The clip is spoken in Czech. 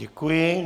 Děkuji.